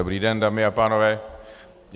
Dobrý den, dámy a pánové.